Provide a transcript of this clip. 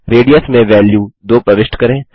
radius में value 2 प्रविष्ट करें